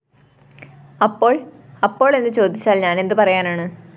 അപ്പോള്‍? അപ്പോള്‍ എന്ന് ചോദിച്ചാല്‍ ഞാനെന്ത് പറയാനാണ്